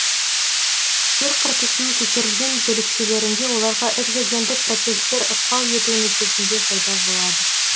жер қыртысының көтерілген бөлікшелерінде оларға экзогендік процестер ықпал етуі нәтижесінде пайда болады